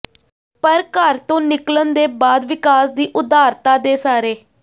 ਪਰ ਘਰ ਤੋਂ ਨਿਕਲਣ ਦੇ ਬਾਅਦ ਵਿਕਾਸ ਦੀ ਉਦਾਰਤਾ ਦੇ ਸਾਰੇ